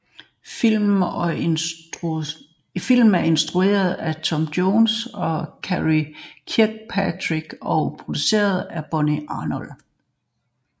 Filmen er instrueret af Tim Johnson og Karey Kirkpatrick og produceret af Bonnie Arnold